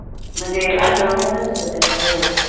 फायदाच होतो त्याचा हो